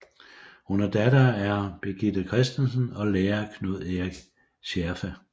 Hun er datter af Birgithe Kristensen og lærer Knud Erik Schärfe